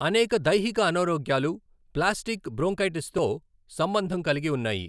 అనేక దైహిక అనారోగ్యాలు ప్లాస్టిక్ బ్రోన్కైటిస్తో సంబంధం కలిగి ఉన్నాయి.